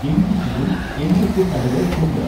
എനിക്ക് ചുറ്റും എന്തൊക്കെ കടകൾ ഉണ്ട്